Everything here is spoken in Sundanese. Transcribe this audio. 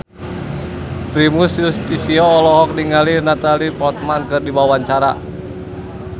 Primus Yustisio olohok ningali Natalie Portman keur diwawancara